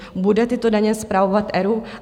Bude tyto daně spravovat ERÚ?